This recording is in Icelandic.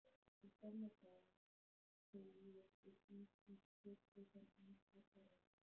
Í gamla daga, segi ég og bít í kjötlausan hamborgarann.